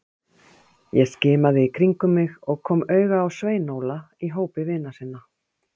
Ég skimaði í kringum mig og kom auga á Svein Óla í hópi vina sinna.